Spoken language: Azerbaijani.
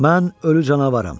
Mən ölü canavaram.